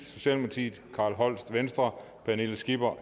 carl holst pernille skipper